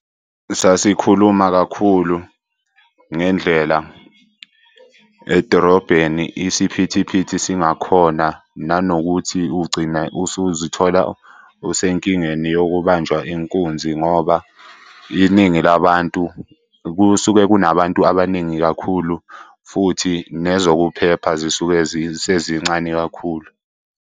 Sasikhuluma kakhulu ngendlela edorobheni isiphithiphithi singakhona, nanokuthi ugcina usuzithola usenkingeni yokubanjwa inkunzi ngoba iningi labantu, kusuke kunabantu abaningi kakhulu, futhi nezokuphepha zisuke sezincane kakhulu.